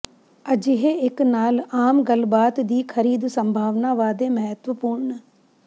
ਅਜਿਹੇ ਇੱਕ ਨਾਲ ਆਮ ਗੱਲਬਾਤ ਦੀ ਖਰੀਦ ਸੰਭਾਵਨਾ ਵਾਧੇ ਮਹੱਤਵਪੂਰਨ